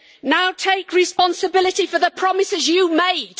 Now take responsibility for the promises you made.